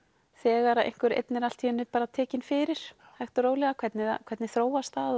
þegar einhver einn er allt í einu bara tekinn fyrir hægt og rólega hvernig hvernig þróast það